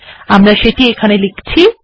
আমি সেটা এখানে লিখছি